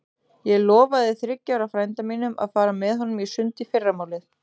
Ég lofaði þriggja ára frænda mínum að fara með honum í sund í fyrramálið.